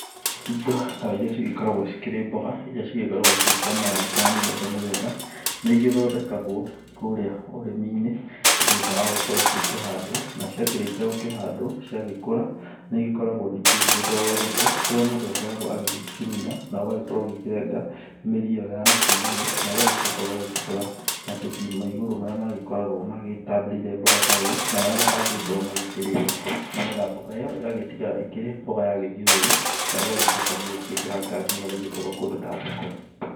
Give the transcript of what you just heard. Indo ta iria cigĩkoragwo cikĩrĩ mboga iria cigĩkoragwo cirĩ cia marangi mĩthemba mĩthemba. Nĩ igĩthondekagwo kũrĩa ũrĩmi-inĩ thĩna wa gũkorwo cigĩkĩhandwo, na ciakĩrĩkia gũkĩhandwo cigagĩkũra. Nĩ igĩkoragwo ningĩ ĩgĩgĩtwarwo thoko, kũrĩa mũndũ akoragwo agĩgĩcimunya na ũgakorwo na ũgagĩkorwo ũgĩkĩrenga mĩri ĩyoya nakũu thĩ na ũgagĩcoka ũgagĩbuta mabuti ma igũrũ marĩa magĩkoragwo magĩtambĩrĩire mboga ta ĩyo. Na marĩa matangĩgĩkorwo magĩkĩrĩo, nĩ getha mboga ĩyo ĩgagĩtigara ĩkĩrĩ mboga ya gĩthiũrũrĩ, na ũgagĩcoka ũgagĩciĩkĩra ngari nĩ getha igĩtwarwo kũndũ ta thoko.